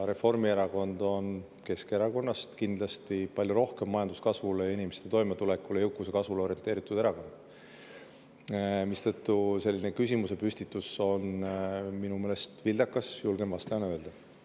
Reformierakond on Keskerakonnast kindlasti palju rohkem majanduskasvule ja inimeste toimetulekule, jõukuse kasvule orienteeritud, mistõttu on selline küsimusepüstitus minu meelest vildakas, julgen vastusena öelda.